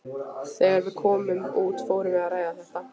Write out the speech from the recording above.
Þegar við komum út fórum við að ræða þetta.